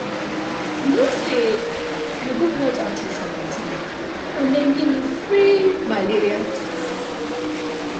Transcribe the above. you no say i go health outreach for my town and dem give dem give me free malaria tests.